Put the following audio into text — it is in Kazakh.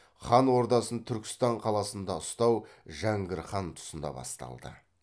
хан ордасын түркістан қаласында ұстау жәңгір хан тұсында басталды